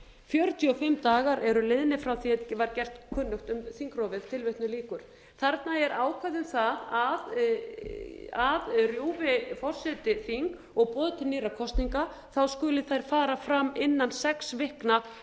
fjörutíu og fimm dagar eru liðnir frá því er gert var kunnugt um þingrofið þarna er ákvæði um það að rjúfi forseti þing og boði til nýrra kosninga skuli þær fara fram innan sex vikna